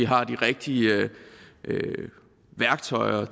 har de rigtige værktøjer